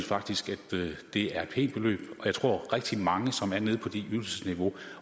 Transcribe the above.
faktisk synes det er et pænt beløb og jeg tror at rigtig mange som er nede på det ydelsesniveau